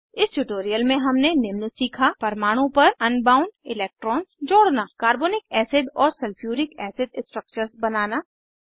इस ट्यूटोरियल में हमने निम्न सीखा परमाणु पर अनबाउंड इलेक्ट्रॉन्स जोड़ना कार्बोनिक एसिड और सल्फ्यूरिक एसिड स्ट्रक्चर्स बनाना